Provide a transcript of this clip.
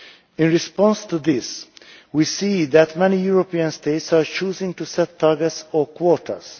In response to this, we see that many European states are choosing to set targets or quotas.